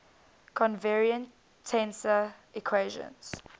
covariant tensor equations